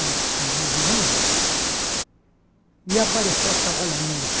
esse movimento e apareceu a Cavalaria.